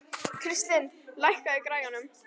Kristlind, lækkaðu í græjunum.